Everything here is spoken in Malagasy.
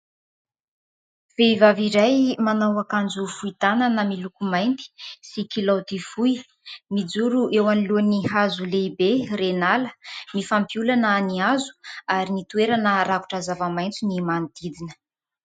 Vehivavy iray manao akanjo fohy tanana miloko mainty sy kilaoty fohy mijoro eo anolohan'ny hazo lehibe ren'ala, mifampiolana ny hazo ary ny toerana rakotra zava-maitso ny manodidina.